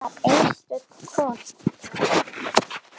Hún var einstök kona.